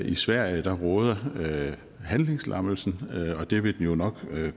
i sverige råder handlingslammelsen og det vil den jo nok